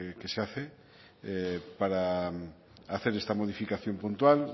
que se hace para hacer esta modificación puntual